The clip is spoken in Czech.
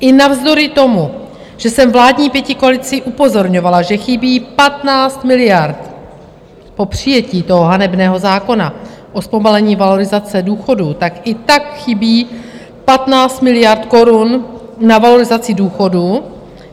I navzdory tomu, že jsem vládní pětikoalici upozorňovala, že chybí 15 miliard po přijetí toho hanebného zákona o zpomalení valorizace důchodů, tak i tak chybí 15 miliard korun na valorizaci důchodů.